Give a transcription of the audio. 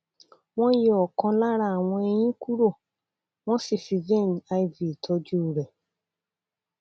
wọn yọ ọkàn lára àwọn eyín kúrò wọn sì fi vein iv tọjú rẹ